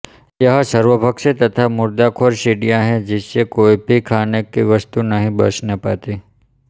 यह सर्वभक्षी तथा मुर्दाखोर चिड़िया है जिससे कोई भी खाने की वस्तु नहीं बचने पाती